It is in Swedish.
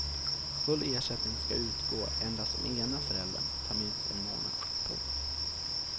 Full ersättning ska utgå endast om ena föräldern tar minst en månad. punkt